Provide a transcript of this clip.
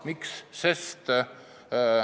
Miks?